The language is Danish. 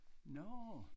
Nårh